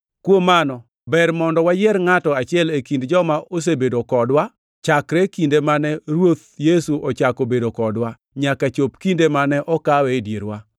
Kuom mano, ber mondo wayier ngʼato achiel e kind joma osebedo kodwa, chakre kinde mane Ruoth Yesu ochako bedo kodwa nyaka chop kinde mane okawe e dierwa.